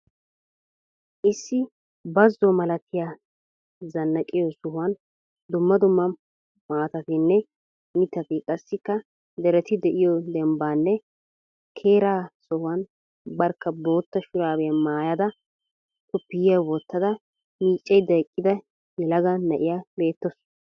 Issi bazo malattiya zanaqqiyo sohuwaan dumma dumma maatattinne mittati qassika deretti de'iyo dembanne kera sohuwan barkka bootta shuraabiya maayada koppiyiyaa wottada miiccaydda eqqida yelaga na'iyaa beetawusu.